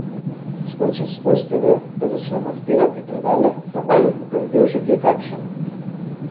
Skočim s postelje pa začnem odpirat predale pa molim, da bi bil še kje kakšen.